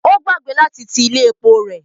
Ó gbàgbé láti ti ilé epo rẹ̀.